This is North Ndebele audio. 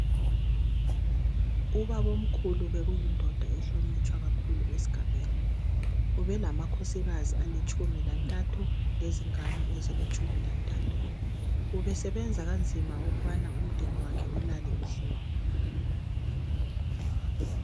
Ubabomkhulu bekuyindoda ehlonitshwa kakhulu esigabeni ubelamakhosikazi alitshumi lantathu lezingane ezilitshumi lantathu ubesebenza kanzima ukubana umdeni wakhe ulale udlile.